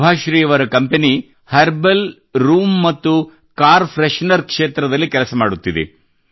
ಸುಭಾಶ್ರೀ ಅವರ ಕಂಪನಿಯು herbal room ಮತ್ತು ಕಾರ್ ಫ್ರೆಶ್ ನರ್ ಕ್ಷೇತ್ರದಲ್ಲಿ ಕೆಲಸ ಮಾಡುತ್ತಿದೆ